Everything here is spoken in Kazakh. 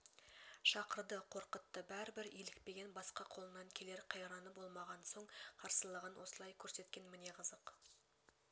шақырды қорқытты бәрі бір илікпеген басқа қолынан келер қайраны болмаған соң қарсылығын осылай көрсеткен міне қызық